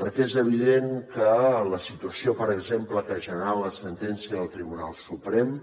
perquè és evident que la situació per exemple que ha generat la sentència del tribunal suprem